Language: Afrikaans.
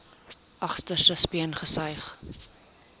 agterste speen gesuig